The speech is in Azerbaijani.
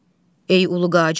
Ey Ulu Qacar!